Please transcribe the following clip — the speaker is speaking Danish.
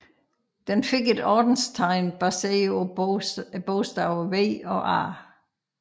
Den fik et ordenstegn baseret på bogstaverne V og A